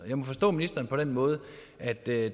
jeg må forstå ministeren på den måde at det